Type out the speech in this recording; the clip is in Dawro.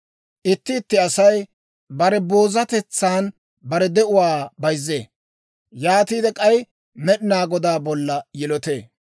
Itti itti Asay bare boozatetsan bare de'uwaa bayzzee; yaatiide k'ay Med'inaa Godaa bolla yilotee.